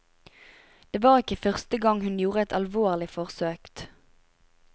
Det var ikke første gang hun gjorde et alvorlig forsøkt.